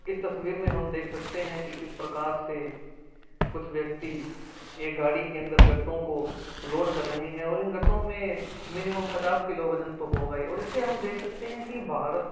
इस तस्वीर में हम देख सकते हैं की किस प्रकार से कुछ व्यक्ति गाड़ी के अंदर गट्टू को लोड कर रहे हैं और इन गट्टो में मिनिमम पच्चास किलो वजन तो होगा है और इससे हम देख सकते है की --